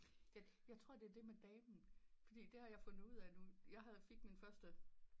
Jeg tror det er det med damen for det har jeg fundet ud af nu jeg fik min første